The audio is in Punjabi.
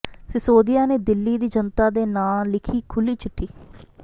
ਸਿਸੋਦੀਆ ਨੇ ਦਿੱਲੀ ਦੀ ਜਨਤਾ ਦੇ ਨਾਂਅ ਲਿਖੀ ਖੁੱਲ੍ਹੀ ਚਿੱਠੀ